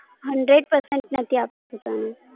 Hundred percent નથી આપતા જે